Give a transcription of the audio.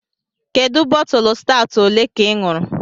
Kedu bọtụlụ stawụt olee ka ị ṅụrụ??